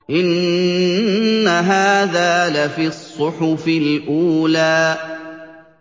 إِنَّ هَٰذَا لَفِي الصُّحُفِ الْأُولَىٰ